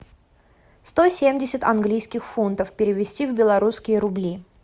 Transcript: сто семьдесят английских фунтов перевести в белорусские рубли